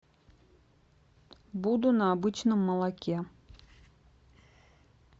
буду на обычном молоке